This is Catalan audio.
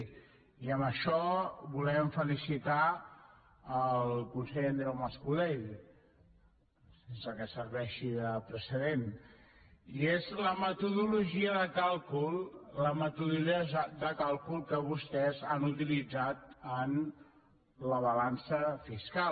i amb això volem felicitar el conseller andreu mas colell sense que serveixi de precedent i és la metodologia de càlcul que vostès han utilitzat en la balança fiscal